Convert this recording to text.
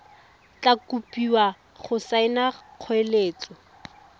tla kopiwa go saena kgoeletso